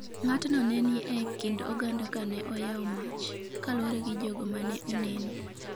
Ng’atno ne ni e kind oganda ka ne oyawo mach, kaluwore gi jogo ma ne oneno.